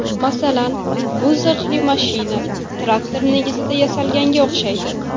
Masalan, bu zirhli mashina traktor negizida yasalganga o‘xshaydi.